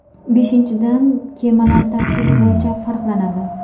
Beshinchidan, kemalar tarkibi bo‘yicha farqlanadi.